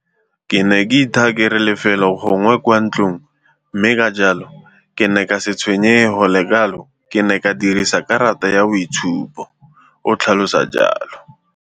Ke ne ke ithaa kere lefelo gongwe kwa ntlong mme ka jalo ke ne ka sa tshwenyege go le kalo ka ke ne ke dirisa karata ya boitshupo, o tlhalosa jalo.